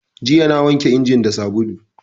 Jiya na wanke injin da sabulu